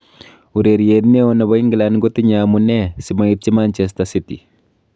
Ureriet neo nebo England kotinye amune simaityi Manchester city.